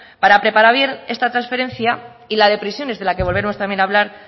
para preparar esta transferencia y la de prisiones de la que volveremos también a hablar